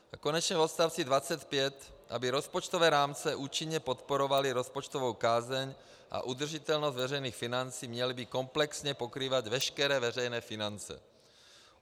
A konečně v odstavci 25, aby rozpočtové rámce účinně podporovaly rozpočtovou kázeň a udržitelnost veřejných financí, měly by komplexně pokrývat veškeré veřejné finance.